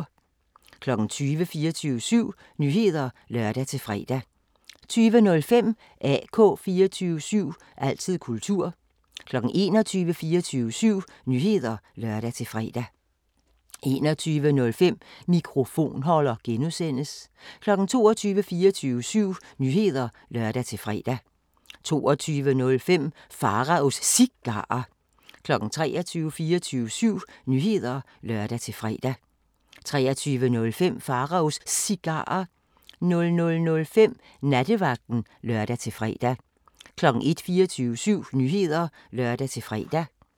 20:00: 24syv Nyheder (lør-fre) 20:05: AK 24syv – altid kultur 21:00: 24syv Nyheder (lør-fre) 21:05: Mikrofonholder (G) 22:00: 24syv Nyheder (lør-fre) 22:05: Pharaos Cigarer 23:00: 24syv Nyheder (lør-fre) 23:05: Pharaos Cigarer 00:05: Nattevagten (lør-fre) 01:00: 24syv Nyheder (lør-fre)